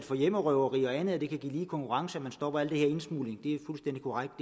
for hjemmerøverier og andet og det kan give lige konkurrence at man stopper al den her indsmugling det